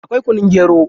Akwai kunun gero.